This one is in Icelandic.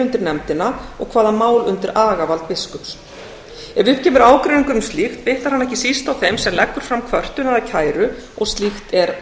undir nefndina og hvaða mál undir agavald biskups ef upp kemur ágreiningur um slíkt bitnar hann ekki síst á þeim sem leggur fram kvörtun eða kæru og slíkt er